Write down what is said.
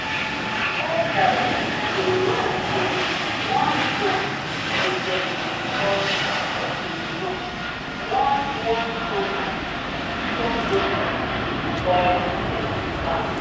elders bin yan say one drum wey dem dey call talking drum don warn farmers before locusts spoil dem farm